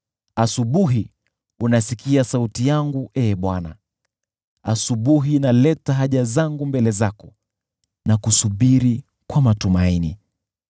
Asubuhi, unasikia sauti yangu, Ee Bwana ; asubuhi naleta haja zangu mbele zako, na kusubiri kwa matumaini.